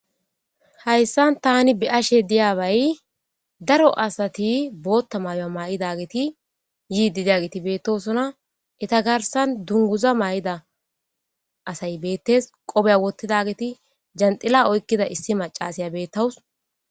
Haysan tani be'ashe diyabay daro asati boota mayuwa mayidi yiidi diyaveti beetosona. Eeta garsen dunguza mayo mayidageti beetees.qoofiga wottidagetinne janxila oykida issi maccasiya beetawus.